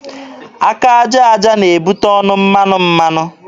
Aka aja aja na-ebute ọnụ mmanụ mmanụ.